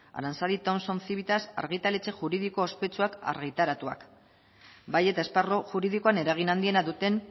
aranzadi thomson civitas argitaletxe juridiko ospetsuak argitaratuak bai eta esparru juridikoan eragin handiena duten